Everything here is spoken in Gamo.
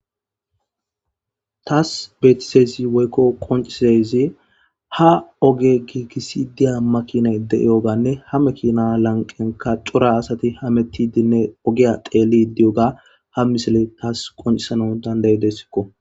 Taas beettizayssi woykko qonccizayssi ha oge giigisi diya makinay de7iyoganne ha mekina lanqenka cora asati hamettidinne ogiya deeli diyoga ha misile taas qoncisano dandayidessikko.